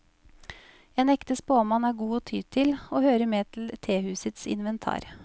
En ekte spåmann er god å ty til og hører med til tehusets inventar.